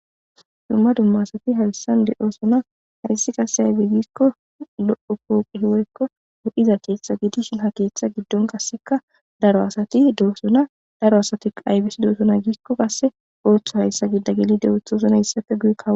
Dumma dumma asati hawissan de7oosona hayssi qasse haybi giikko lo7o pooqi hiwoykko wo7iza keeththa gidishin ha keeththa giddon qasseka daro asati doosona daro asati aybesi doosona giikko qasse ooththo hayssa giida geli dewoothosunhayssapfe guye kawo.